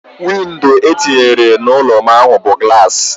Windo etinyere n'ụlọ ahu bu gulasi